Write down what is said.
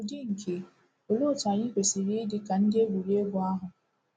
N’ụdị nke, òlee otú anyị kwesịrị ịdị ka ndị egwuregwu ahụ?